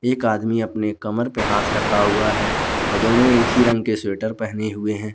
एक आदमी अपने कमर पर हाथ रखा हुआ है और दोनों एक ही रंग के स्वेटर पहने हुए हैं।